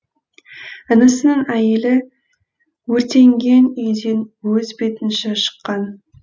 інісінің әйелі өртенген үйден өз бетінші шыққан